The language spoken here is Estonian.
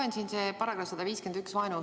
Loen siin seda § 151 "Vaenu õhutamine".